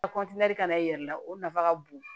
ka na i yɛrɛ la o nafa ka bon